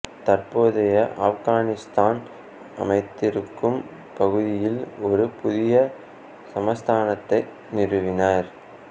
தற்போதைய ஆப்கானித்தான் அமைந்திருக்கும் பகுதியில் ஒரு புதிய சமஸ்தானத்தை நிறுவினர்